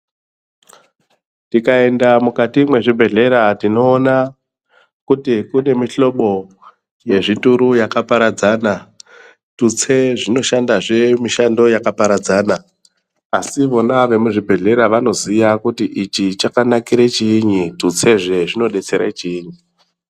Tikaenda mukati mwezvibhedhlera, tinoona kuti kune mihlobo yezvituru yakaparadzana, tutse zvinoshandazve mishando yakaparadzana. Asi vona vemuzvibhedhlera, vanoziya kuti ichi chakanakire chiinyi, tutsezve zvinodetsere chiinyi?